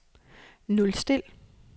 nulstil